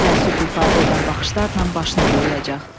Təəssüf ifadə edən baxışlarla başını bulayacaq.